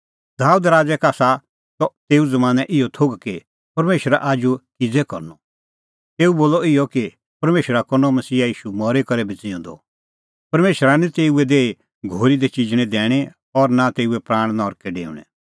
दाबेद राज़ै का आसा त तेऊ ज़मानैं इहअ थोघ कि परमेशरा आजू किज़ै करनअ तेऊ बोलअ इहअ कि परमेशरा करनअ मसीहा ईशू मरी करै भी ज़िऊंदअ परमेशरा निं तेऊए देही घोरी दी चिजणैं दैणीं और नां तेऊए प्राण नरकै डेऊणैं